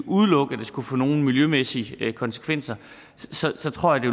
udelukke at det skulle få nogle miljømæssige konsekvenser så tror jeg